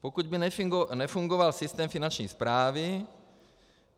Pokud by nefungoval systém Finanční správy.